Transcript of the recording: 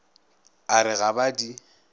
a re ga ba di